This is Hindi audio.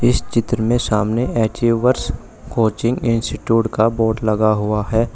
इस चित्र में सामने एचीवर्ष कोचिंग इंस्टिट्यूट का बोर्ड लगा हुआ है।